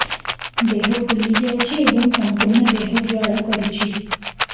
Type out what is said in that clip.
ଦେହ ଫୁଲି ଯାଉଛି ଏବଂ ସମ୍ପୂର୍ଣ୍ଣ ଦେହ ଜ୍ୱାଳା କରୁଛି